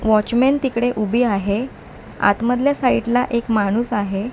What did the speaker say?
Watchman तिकडे उभी आहे आत मधल्या साईड ला एक माणूस आहे.